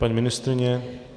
Paní ministryně?